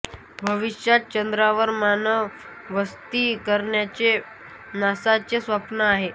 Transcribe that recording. भविष्यात चंद्रावर मानव वस्ती करण्याचे नासाचे स्वप्न आहे